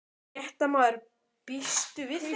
Fréttamaður: Býstu við þeim?